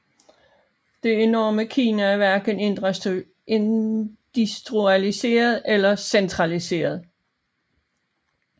Det enorme Kina er hverken industrialiseret eller centraliseret